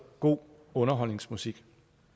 god underholdningsmusik